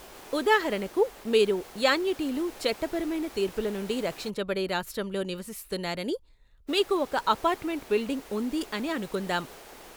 ఉదాహరణకు, మీరు యాన్యుటీలు చట్టపరమైన తీర్పుల నుండి రక్షించబడే రాష్ట్రంలో నివసిస్తున్నారని, మీకు ఒక అపార్ట్మెంట్ బిల్డింగ్ ఉంది అని అనుకుందాం.